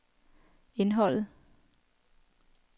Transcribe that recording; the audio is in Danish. indholdet